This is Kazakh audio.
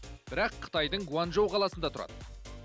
бірақ қытайдың гуанчжоу қаласында тұрады